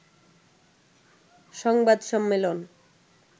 সংবাদ সম্মেলন